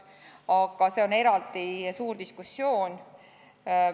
Aga see on eraldi suur diskussioon.